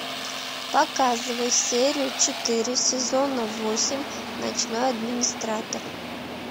показывай серию четыре сезона восемь ночной администратор